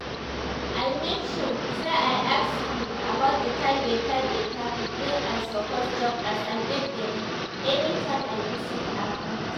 i make sure say i as k about the kind better better food wey i suppose chop as i get belle